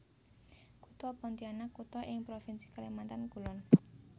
Kutha Pontianak kutha ing Provinsi Kalimantan Kulon